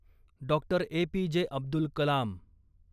Doctor A P J. Abdul Kalam